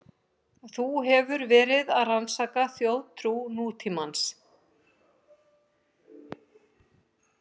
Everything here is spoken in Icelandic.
Þú hefur verið að rannsaka þjóðtrú nútímans?